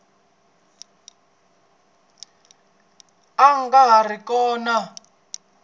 a nga ha ri kona